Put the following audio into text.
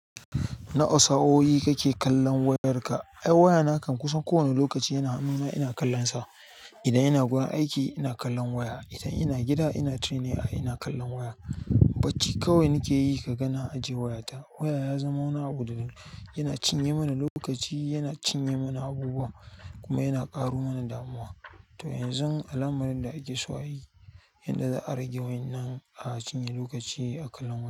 Nawa sa'o'i kake kallon wayarka. Ai wayana kan kusan kowane lokaci yana hannuna ina kallonsa. Idan ina gun aiki ina kallon waya, idan ina gida ina cin ina kallon waya. Bacci kawai nake yi ka ga na ajiye wayata. Waya ya zama wani abu da yana cinye mana lokaci, yana cinye mana abubuwa kuma yana ƙaro mana damuwa. To yanzu alamarin da ake so ayi, yanda za a rage wannan cinye lokaci a kallon waya.